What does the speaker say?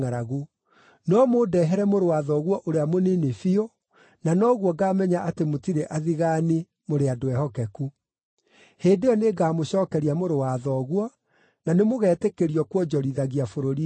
No mũndehere mũrũ wa thoguo ũrĩa mũnini biũ na noguo ngaamenya atĩ mũtirĩ athigaani, mũrĩ andũ ehokeku. Hĩndĩ ĩyo nĩngamũcookeria mũrũ wa thoguo, na nĩmũgetĩkĩrio kuonjorithagia bũrũri-inĩ ũyũ.’ ”